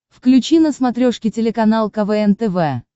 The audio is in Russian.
включи на смотрешке телеканал квн тв